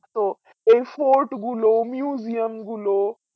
তো এই fort গুলো museum গুলো